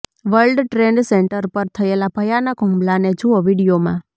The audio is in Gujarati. વર્લ્ડ ટ્રેડ સેંટર પર થયેલા ભયાનક હુમલાને જુઓ વીડિયોમાં